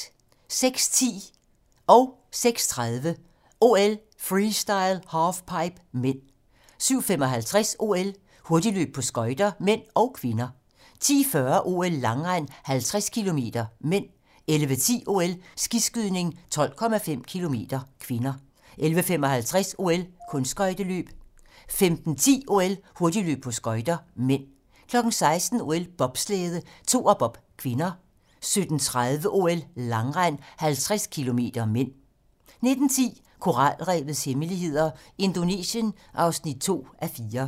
06:10: OL: Freestyle - halfpipe (m) 06:30: OL: Freestyle - halfpipe (m) 07:55: OL: Hurtigløb på skøjter (m) og (k) 10:40: OL: Langrend - 50 km (m) 11:10: OL: Skiskydning - 12,5 km (k) 11:55: OL: Kunstskøjteløb 15:10: OL: Hurtigløb på skøjter (m) 16:00: OL: Bobslæde - Toerbob (k) 17:30: OL: Langrend - 50 km (m) 19:10: Koralrevets hemmeligheder - Indonesien (2:4)